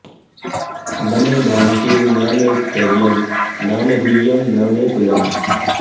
न मे भ्रान्तिर्न मे स्थैर्यं न मे गुह्यं न मे कुलम्